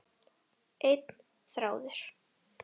Einn þráður.